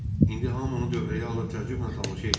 İndi hamı onu dövrəyə alıb təəccüblə tamaşa eləyirdi.